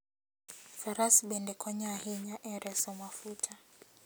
Faras bende konyo ahinya e reso mafuta.